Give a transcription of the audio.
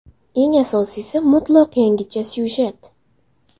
Eng asosiysi mutlaq yangicha syujet.